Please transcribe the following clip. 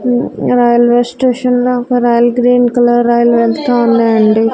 Railway station లో ఒక rail green colour rail వెళ్తా ఉన్నాయండి.